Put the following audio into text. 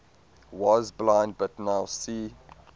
was blind but now see